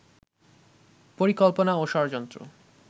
পরিকল্পনা ও ষড়যন্ত্র